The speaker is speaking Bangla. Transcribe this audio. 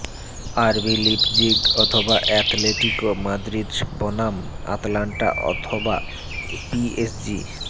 আরবি লিপজিগ অথবা অ্যাতলেটিকো মাদ্রিদ বনাম আটালান্টা অথবা পিএসজি